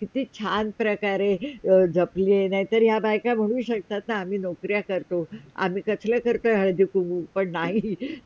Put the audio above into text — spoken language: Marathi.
कित्ती छान प्रकारे जपली आहे नाही तर हे बायका म्हणू शकतात ना, कि, आम्ही नौकऱ्या करतो आम्ही कसला करतो हळदी कुंकू पण नाही train